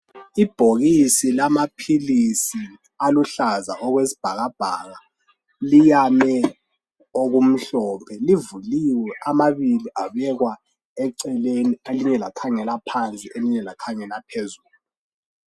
Ibhokisi lamaphilisi aluhlaza okwesibhakabhaka, liyame okumhlophe. Livuliwe amabili abekwa eceleni, elinye lakhangela phansi elinye lakhangela phezulu